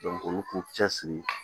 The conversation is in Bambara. olu k'u cɛ siri